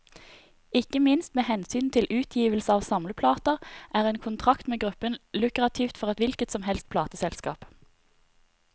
Ikke minst med hensyn til utgivelse av samleplater, er en kontrakt med gruppen lukrativt for et hvilket som helst plateselskap.